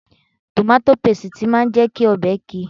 Tòmátò pasìtì máa ń jẹ́ kí ọbẹ̀ ki